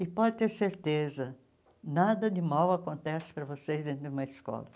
E pode ter certeza, nada de mal acontece para vocês dentro de uma escola.